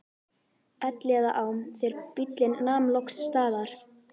Elliðaám þegar bíllinn nam loks staðar.